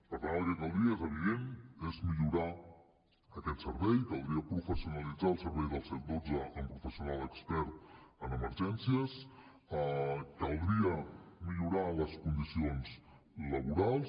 per tant el que caldria és evident és millorar aquest servei caldria professionalitzar el servei del cent i dotze amb professionals experts en emergències caldria millorar les condicions laborals